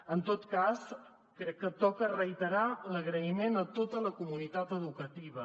en tot cas crec que toca reiterar l’agraïment a tota la comunitat educativa